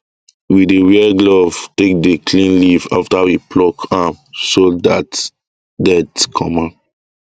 we dey wear glove take dey clean leaf after we pluck am so that get comma